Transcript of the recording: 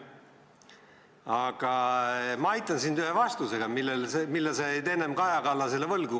Aga ma aitan sind ühe vastusega, mille sa jäid enne Kaja Kallasele võlgu.